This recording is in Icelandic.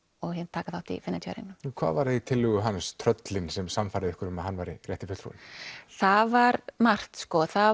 taka þátt í Feneyjartíværingnum hvað var það í tillögu hans tröllin sem sannfærði ykkur um að hann væri rétti fulltrúinn það var margt sko það